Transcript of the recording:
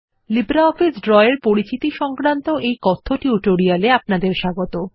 LibreOffice Draw এর উপর পরিচিতি সংক্রান্ত এই কথ্য টিউটোরিয়ালে আপনাদের স্বাগত